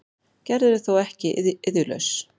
Gerður er þó ekki iðjulaus.